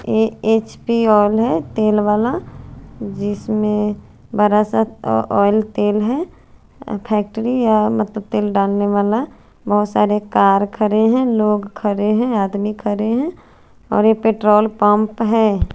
अ H P oil है तेल वाला जिसमे बरा सा अ ओइल तेल है फैक्ट्री है मतलब तेल डालने वाला बोहोत सारे कार खड़े है लोग खरे है आदमी खरे है और ये पेट्रोल पंप है।